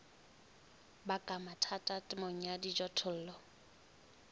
baka mathata temong ya dijothollo